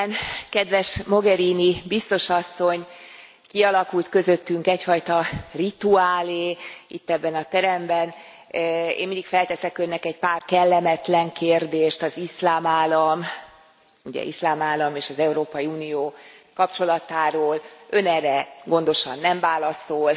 Elnök Úr, kedves Mogherini Biztos Asszony, kialakult közöttünk egyfajta rituálé itt ebben a teremben én mindig felteszek Önnek egy pár kellemetlen kérdést az Iszlám Állam, az Iszlám Állam és az Európai Unió kapcsolatáról, Ön erre gondosan nem válaszol.